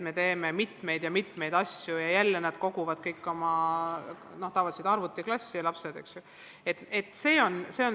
Me teeme mitmeid ja mitmeid asju ning jälle tuleb neil kõik oma lapsed kokku koguda, tavaliselt arvutiklassi.